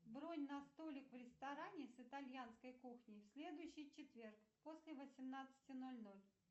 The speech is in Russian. бронь на столик в ресторане с итальянской кухней в следующий четверг после восемнадцати ноль ноль